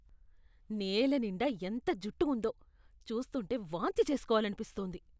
నేల నిండా ఎంత జుట్టు ఉందో. చూస్తుంటే వాంతి చేస్కోవాలనిపిస్తోంది.